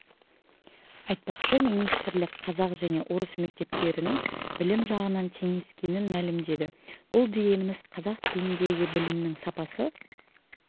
айтпақшы министрлік қазақ және орыс мектептерінің білім жағынан теңескенін мәлімдеді бұл дегеніміз қазақ тіліндегі білімнің сапасы